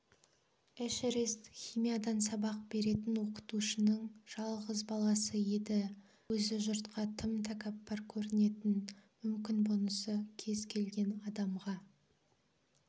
эшерест химиядан сабақ беретін оқытушының жалғыз баласы еді өзі жұртқа тым тәкаппар көрінетін мүмкін бұнысы кез келген адамға